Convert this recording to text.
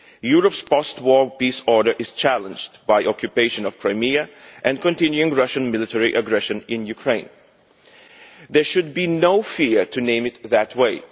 Europe's post war peace order is challenged by the occupation of Crimea and continuing Russian military aggression in Ukraine. There should be no fear in naming it that way.